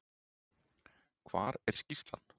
Hvar er skýrslan?